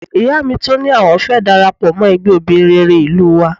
Ìyá mi tún ní àwọn fẹ́ darapọ̀ mọ́ ẹgbẹ́ obìnrin rere ìlú wa